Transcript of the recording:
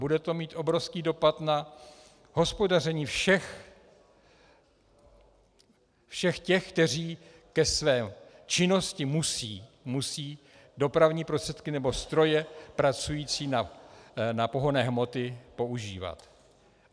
Bude to mít obrovský dopad na hospodaření všech těch, kteří ke své činnosti musí dopravní prostředky nebo stroje pracující na pohonné hmoty používat.